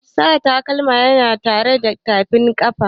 Sa takalma yana kare tafin kafa.